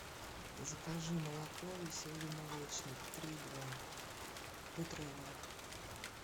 закажи молоко веселый молочник три и два литровое